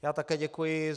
Já také děkuji.